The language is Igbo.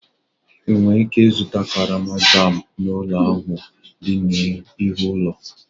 Ị nwere ike ịzụta karama jam n'ụlọ ahịa ahụ dị n'ihu ụlọ?